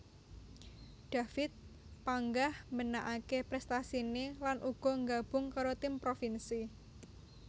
David panggah mbenakaké prestasiné lan uga nggabung karo tim provinsi